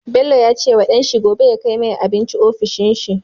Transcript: Bello yace wa dan shi gobe ya kai mai abinci ofishin shi